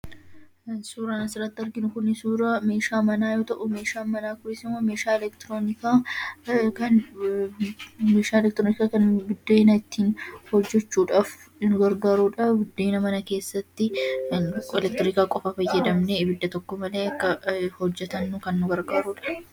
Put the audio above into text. Suuraan asirratti arginu kun suuraa meeshaa manaa yoo ta'u, meeshaan manaa kunis meeshaa elektirooniidha. Kan buddeena ittiin tolfachuudhaaf nu gargaarudha. Buddeena mana keessatti elektiriika qofaa fayyadamnee abidda tokko malee hojjatannuuf kan nu gargaarudha.